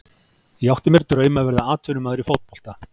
Ég átti mér draum að verða atvinnumaður í fótbolta.